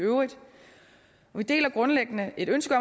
i øvrigt vi deler grundlæggende et ønske